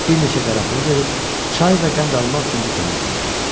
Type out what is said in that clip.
Bir neçə qara pul verib, çay və qənd almaq üçün dükana göndərdi.